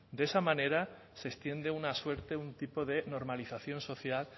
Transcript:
de esa manera se extiende una suerte un tipo de normalización social